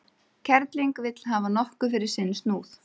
Kerling vill hafa nokkuð fyrir sinn snúð.